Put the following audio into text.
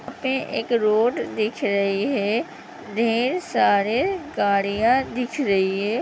ये एक रोड दिख रही है ढेर सारे गाड़ियां दिख रही हैं।